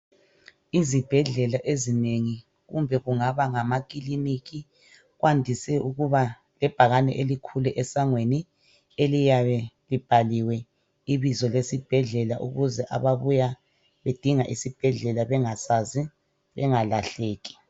Izibhedlela ezinengi kumbe kungaba ngamakiliniki kwandise ukuba lebhakane elikhulu esangweni eliyabe libhaliwe ibizo lesibhedlela ukuze ababuya bedinga isibhedlela bengasazi bengalahleki.